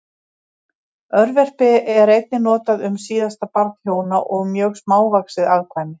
Örverpi er einnig notað um síðasta barn hjóna og mjög smávaxið afkvæmi.